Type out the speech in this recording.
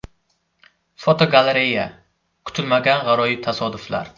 Fotogalereya: Kutilmagan g‘aroyib tasodiflar.